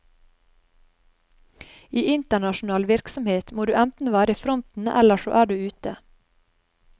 I internasjonal virksomhet må du enten være i fronten eller så er du ute.